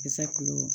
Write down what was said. Kisɛ kulo